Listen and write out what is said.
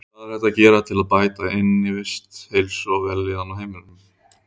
Hvað er hægt að gera til að bæta innivist, heilsu og vellíðan á heimilum?